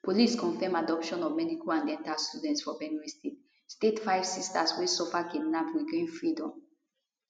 police confam abduction of medical and dental students for benue state state five sisters wey suffer kidnap regain freedom